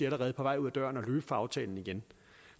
allerede på vej ud af døren og er fra aftalen igen